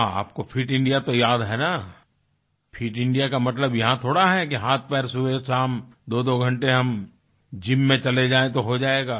हाँ आपको Fit India तो याद है न फिट इंडिया का मतलब यहाँ थोड़ा है कि हाथपैर सुबहशाम दोदो घंटे हम जिम में चले जाएं तो हो जाएगा